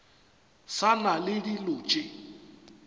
sa na le dilo tše